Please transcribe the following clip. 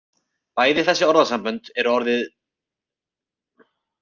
Bæði þessi orðasambönd eru orðin ærið föst í talmáli.